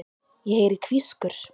Ég heyri hvískur.